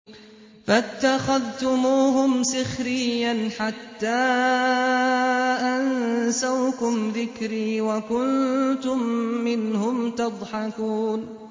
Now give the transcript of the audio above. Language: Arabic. فَاتَّخَذْتُمُوهُمْ سِخْرِيًّا حَتَّىٰ أَنسَوْكُمْ ذِكْرِي وَكُنتُم مِّنْهُمْ تَضْحَكُونَ